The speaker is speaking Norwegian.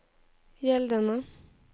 gjeldende